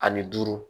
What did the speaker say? Ani duuru